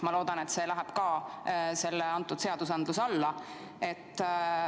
Ma loodan, et see läheb ka selle seaduseelnõu alla.